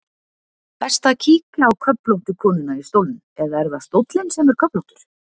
Best að kíkja á köflóttu konuna í stólnum, eða er það stóllinn sem er köflóttur?